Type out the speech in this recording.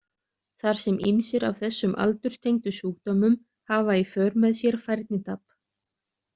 Þar sem ýmsir af þessum aldurstengdu sjúkdómum hafa í för með sér færnitap.